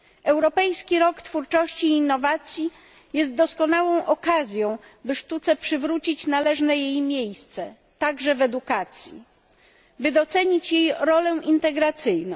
Europejski Rok Twórczości i Innowacji jest doskonałą okazją, by sztuce przywrócić należne jej miejsce, także w edukacji, by docenić jej rolę integracyjną.